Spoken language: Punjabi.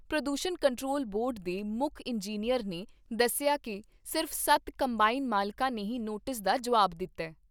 ਪ੍ਰਦੂਸ਼ਣ ਕੰਟਰੋਲ ਬੋਰਡ ਦੇ ਮੁੱਖ ਇੰਜਨੀਅਰ ਨੇ ਦੱਸਿਆ ਕਿ ਸਿਰਫ਼ ਸੱਤ ਕੰਬਾਈਨ ਮਾਲਕਾਂ ਨੇ ਹੀ ਨੋਟਿਸ ਦਾ ਜੁਆਬ ਦਿੱਤਾ।